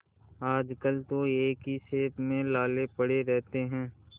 आजकल तो एक ही खेप में लाले पड़े रहते हैं